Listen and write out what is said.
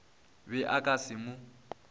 be a ka se mo